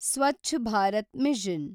Swachh Bharat mission